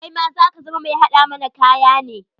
Kaima za ka zama mai haɗa mana kaya ne?